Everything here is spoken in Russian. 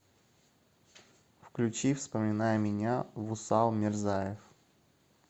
включи вспоминай меня вусал мирзаев